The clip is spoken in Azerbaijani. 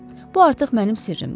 Bu artıq mənim sirrimdir.